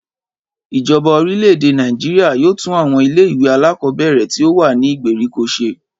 Ìjoba orílè-èdè Nàìjíríà yóò tún àwon ilé ìwé alákòóbèrè tí ó wà ní ìgbèríko se